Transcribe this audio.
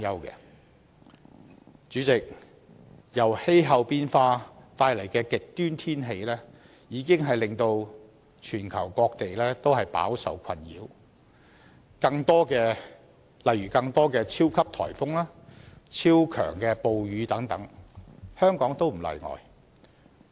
代理主席，由氣候變化帶來的極端天氣已令全球各地飽受困擾，例如出現更多的超級颱風、超強暴雨等，香港亦不例外。